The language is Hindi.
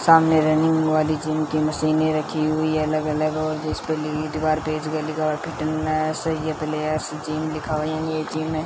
सामने रनिंग वाली जिम की मशीने रखी हुई है अलग अलग जिसपे लिट गार्पेच के लिखा फिटनेस यह प्लेयर्स जिम लिखा हुआ है ये जिम है।